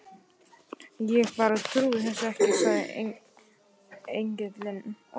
Ég bara trúi þessu ekki, sagði Engillinn, og